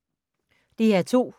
DR2